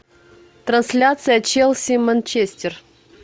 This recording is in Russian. трансляция челси манчестер